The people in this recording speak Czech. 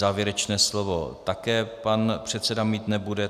Závěrečné slovo také pan předseda mít nebude.